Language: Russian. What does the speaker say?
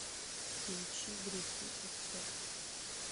включи грехи отцов